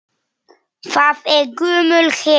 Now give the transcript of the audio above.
Það er gömul hefð.